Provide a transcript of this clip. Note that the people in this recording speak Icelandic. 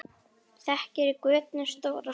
Þekur götin stór og smá.